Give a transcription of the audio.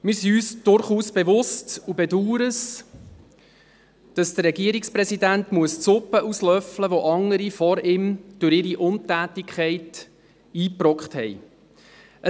Wir sind uns durchaus bewusst und bedauern es, dass der Regierungspräsident die Suppe auslöffeln muss, die ihm andere vor ihm durch ihre Untätigkeit eingebrockt haben.